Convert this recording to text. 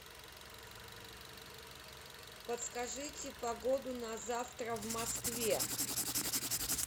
подскажите погоду на завтра в москве